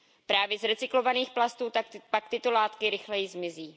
Právě z recyklovaných plastů pak tyto látky rychleji zmizí.